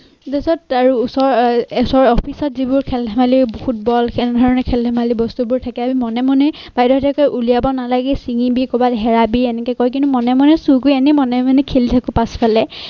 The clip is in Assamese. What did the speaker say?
তাৰপিছত আৰু ওচৰ এচৰ office ত যিবোৰ খেল ধেমালি ফুটবল এনেধৰণে খেল ধেমালি বস্তু বোৰ থাকে আমি মনে মনে বাইদেউহঁতে কয় উলিয়াব নালাগে ছিঙিবি কবাত হেৰাবি এনেকে কয় কিন্তু মনে মনে চুৰ কৰি আনি মনে মনে খেলি থাকোঁ পাছফালে।